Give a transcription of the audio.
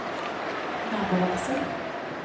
nabovarsel